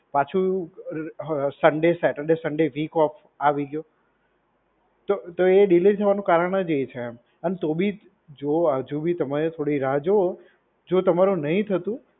પાછું હ Sunday Saturday Sunday week off આવી ગયો. તો તો એ ડીલે થવાનું કારણ જ એ છે એમ. અને તો બી જુઓ હજુ બી તમે થોડી રાહ જુઓ. જો તમારું નહીં થતું,